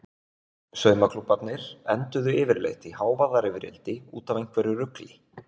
Saumaklúbbarnir enduðu yfirleitt í hávaðarifrildi út af einhverju rugli.